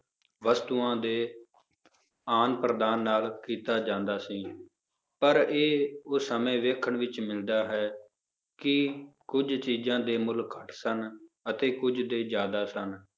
ਵਸਤੂਆਂ ਦੇ ਆਦਾਨ ਪ੍ਰਦਾਨ ਨਾਲ ਕੀਤਾ ਜਾਂਦਾ ਸੀ, ਪਰ ਇਹ ਉਸ ਸਮੇਂ ਵੇਖਣ ਵਿੱਚ ਮਿਲਦਾ ਹੈ, ਕਿ ਕੁੱਝ ਚੀਜ਼ਾਂ ਦੇ ਮੁੱਲ ਘੱਟ ਸਨ ਅਤੇ ਕੁੱਝ ਦੇ ਜ਼ਿਆਦਾ ਸਨ